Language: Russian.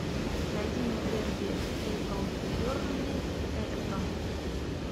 найди мне дерби эпл бернли эвертон